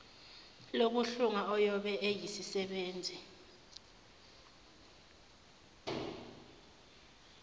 lokuhlunga oyobe eyisisebenzi